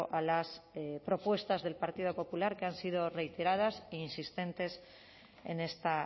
a las propuestas del partido popular que han sido reiteradas e insistentes en esta